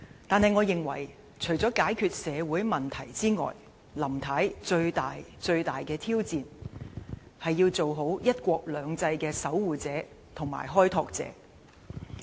然而，我認為除了解決社會問題外，林太最大的挑戰，是要做好"一國兩制"的守護者和開拓者。